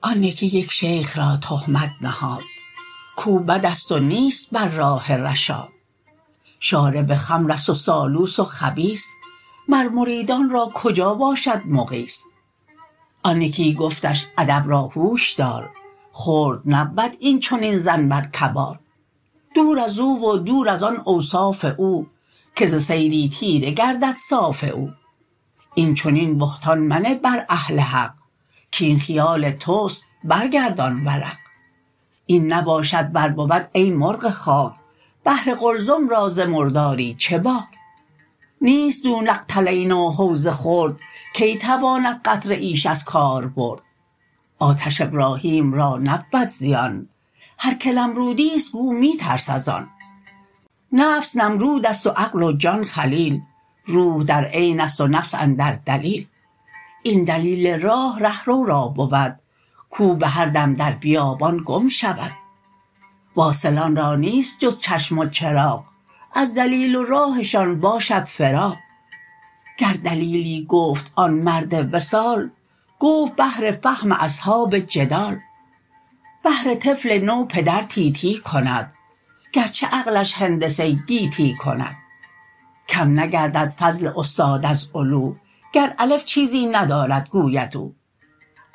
آن یکی یک شیخ را تهمت نهاد کو بدست و نیست بر راه رشاد شارب خمرست و سالوس و خبیث مر مریدان را کجا باشد مغیث آن یکی گفتش ادب را هوش دار خرد نبود این چنین ظن بر کبار دور ازو و دور از آن اوصاف او که ز سیلی تیره گردد صاف او این چنین بهتان منه بر اهل حق کین خیال تست برگردان ورق این نباشد ور بود ای مرغ خاک بحر قلزم را ز مرداری چه باک نیست دون القلتین و حوض خرد که تواند قطره ایش از کار برد آتش ابراهیم را نبود زیان هر که نمرودیست گو می ترس از آن نفس نمرودست و عقل و جان خلیل روح در عینست و نفس اندر دلیل این دلیل راه ره رو را بود کو بهر دم در بیابان گم شود واصلان را نیست جز چشم و چراغ از دلیل و راهشان باشد فراغ گر دلیلی گفت آن مرد وصال گفت بهر فهم اصحاب جدال بهر طفل نو پدر تی تی کند گرچه عقلش هندسه گیتی کند کم نگردد فضل استاد از علو گر الف چیزی ندارد گوید او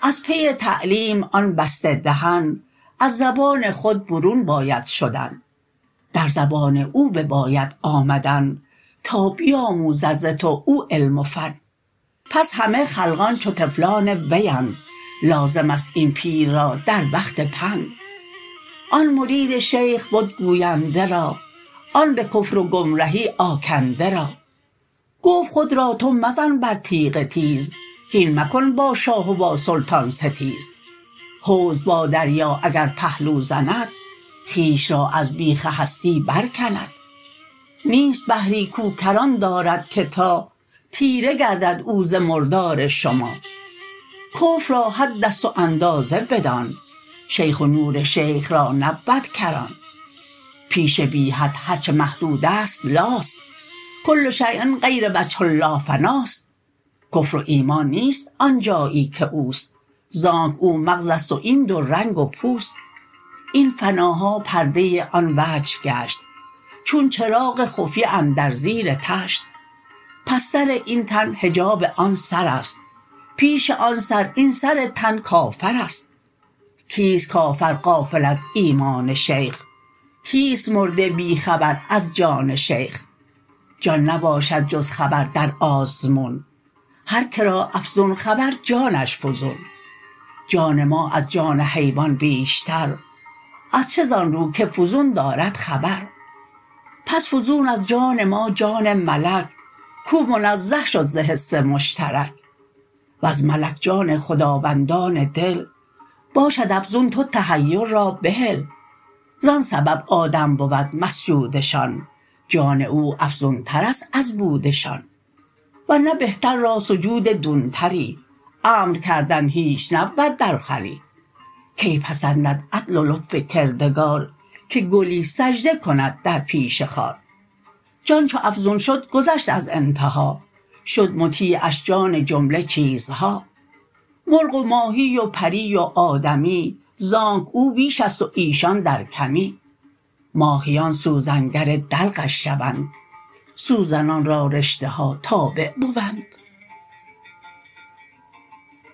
از پی تعلیم آن بسته دهن از زبان خود برون باید شدن در زبان او بباید آمدن تا بیاموزد ز تو او علم و فن پس همه خلقان چو طفلان ویند لازمست این پیر را در وقت پند آن مرید شیخ بد گوینده را آن به کفر و گمرهی آکنده را گفت خود را تو مزن بر تیغ تیز هین مکن با شاه و با سلطان ستیز حوض با دریا اگر پهلو زند خویش را از بیخ هستی بر کند نیست بحری کو کران دارد که تا تیره گردد او ز مردار شما کفر را حدست و اندازه بدان شیخ و نور شیخ را نبود کران پیش بی حد هرچه محدودست لاست کل شیء غیر وجه الله فناست کفر و ایمان نیست آنجایی که اوست زانک او مغزست و این دو رنگ و پوست این فناها پرده آن وجه گشت چون چراغ خفیه اندر زیر طشت پس سر این تن حجاب آن سرست پیش آن سر این سر تن کافرست کیست کافر غافل از ایمان شیخ کیست مرده بی خبر از جان شیخ جان نباشد جز خبر در آزمون هر که را افزون خبر جانش فزون جان ما از جان حیوان بیشتر از چه زان رو که فزون دارد خبر پس فزون از جان ما جان ملک کو منزه شد ز حس مشترک وز ملک جان خداوندان دل باشد افزون تو تحیر را بهل زان سبب آدم بود مسجودشان جان او افزونترست از بودشان ورنه بهتر را سجود دون تری امر کردن هیچ نبود در خوری کی پسندد عدل و لطف کردگار که گلی سجده کند در پیش خار جان چو افزون شد گذشت از انتها شد مطیعش جان جمله چیزها مرغ و ماهی و پری و آدمی زانک او بیشست و ایشان در کمی ماهیان سوزن گر دلقش شوند سوزنان را رشته ها تابع بوند